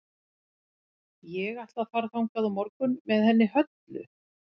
Ég ætla að fara þangað á morgun með henni Höllu.